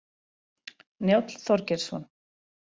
Njáll Þorgeirsson.